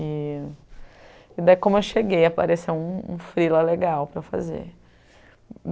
E e daí, como eu cheguei, apareceu um freela lá legal para fazer.